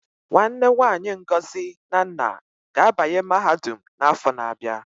Nwanne nwanyi Ngozi na nna ga-abanye mahadum n'afọ na-abịa.